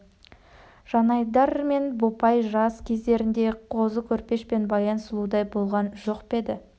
жанайдар мен бопай жас кездерінде қозы көрпеш пен баян сұлудай болған жоқ па еді